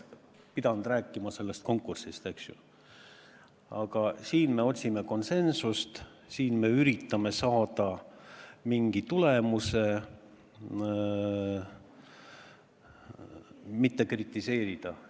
Me otsime siin konsensust, me üritame saada mingi tulemuse, mitte kritiseerida.